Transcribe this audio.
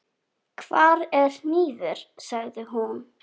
Hvar er hnífur, sagði hún.